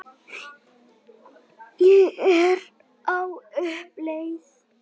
Ég er á uppleið.